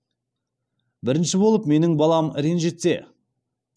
бірінші болып менің балам ренжітсе